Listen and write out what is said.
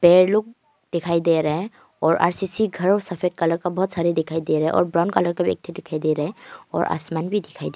Player लोग दिखाई दे रहे है। और आर_सी_सी घर और सफेद कलर का बहुत सारे दिखाई दे रहे हैं और ब्राउन कलर का भी एकठे दिखाई दे रहे है। और आसमान भी दिखाई दे--